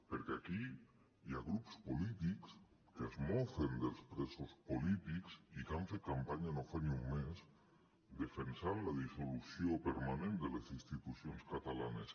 perquè aquí hi ha grups polítics que es mofen dels presos polítics i que han fet campanya no fa ni un mes defensant la dissolució permanent de les institucions catalanes